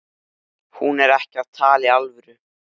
Enda mættum við miklu frekar ásaka okkur sjálf.